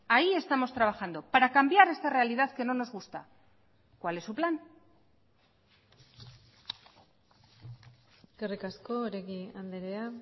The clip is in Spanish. ahí estamos trabajando para cambiar esta realidad que no nos gusta cuál es su plan eskerrik asko oregi andrea